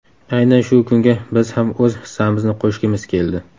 Aynan shu kunga biz ham o‘z hissamizni qo‘shgimiz keldi.